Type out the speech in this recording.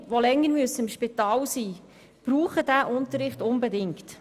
Kinder, die länger im Spital bleiben müssen, brauchen den Unterricht unbedingt.